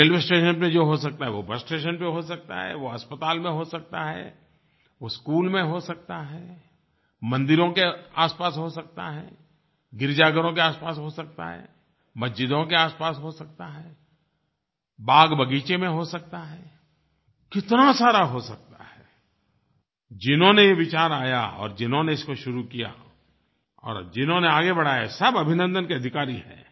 और railway station पर जो हो सकता है वो बस स्टेशन पर हो सकता है वो अस्पताल में हो सकता है वो स्कूल में हो सकता है मंदिरों के आसपास हो सकता है गिरजाघरों के आसपास हो सकता है मस्जिदों के आसपास हो सकता है बाग़बगीचे में हो सकता है कितना सारा हो सकता है जिन्होंने ये विचार आया और जिन्होंने इसको शुरू किया और जिन्होंने आगे बढ़ाया सब अभिनन्दन के अधिकारी हैं